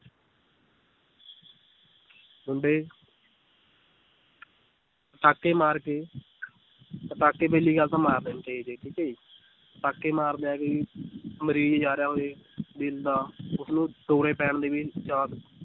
ਮੁੰਡੇ ਪਟਾਕੇ ਮਾਰ ਕੇ ਪਟਾਕੇ ਪਹਿਲੀ ਗੱਲ ਤਾਂ ਮਾਰਨੇ ਨੀ ਚਾਹੀਦੇ ਠੀਕ ਹੈ ਜੀ ਪਟਾਕੇ ਮਾਰਨੇ ਮਰੀਜ਼ ਜਾ ਰਿਹਾ ਹੋਵੇ ਦਿਲ ਦਾ ਉਸਨੂੰ ਦੌਰੇ ਪੈਣ ਦੇ ਵੀ chance